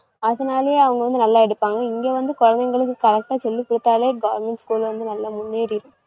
அதனாலயே அவங்க வந்து நல்ல எடுப்பாங்க இங்க வந்து குழந்தைங்களுக்கு correct ஆ சொல்லிக்குடுத்தாலே government school வந்து நல்லா முன்னேறிடும்